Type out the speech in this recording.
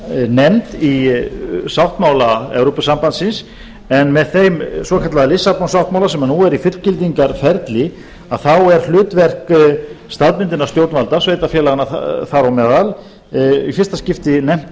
nefnd í sáttmála evrópusambandsins en með þeim svokallaða lisabon sáttmála sem nú er í fullgildingarferli er hlutverk staðbundinna stjórnvalda sveitarfélaganna þar á meðal í fyrsta skipti nefnt